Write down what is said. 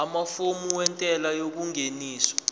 amafomu entela yengeniso